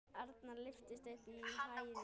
Arnar lyftist upp í hæðir.